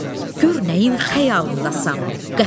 Gör nəyin xəyalındasan.